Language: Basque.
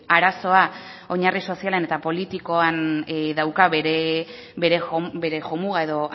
arazoak oinarri sozialen eta politikoan dauka bere jomuga edo